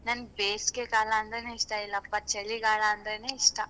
ನಂಗೆ ಬೇಸ್ಗೆ ಕಾಲ ಅಂದ್ರೇನೆ ಇಷ್ಟ ಇಲ್ಲ ಪಾ ಚಳಿಗಾಲ ಅಂದ್ರೇನೆ ಇಷ್ಟ.